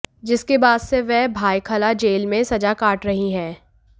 जिसके बाद से वह भायखला जेल में सजा काट रही हैं